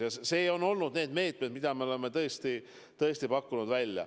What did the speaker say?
Ja seepärast on meil need meetmed, mida me oleme tõesti välja pakkunud.